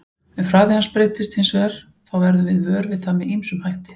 Ef hraði hans breytist hins vegar þá verðum við vör við það með ýmsum hætti.